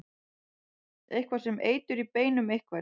Eitthvað er sem eitur í beinum einhvers